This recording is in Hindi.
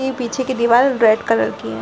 ये पीछे की दीवाल रेड कलर की है |